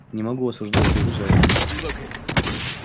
не могу осуждать его за это